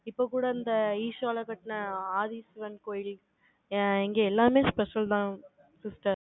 இப்ப கூட, இந்த ஈசால கட்டின, ஆதிஸ்வரன் கோயில், அ இங்க எல்லாமே special தான். sister